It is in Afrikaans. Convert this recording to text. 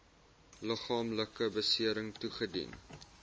liggaamlike besering toegedien